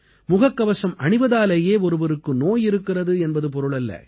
முகக்கவசம் அணிவதாலேயே ஒருவருக்கு நோய் இருக்கிறது என்பது பொருளல்ல